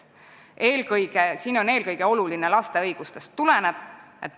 Eelkõige on siin olulised laste õigused.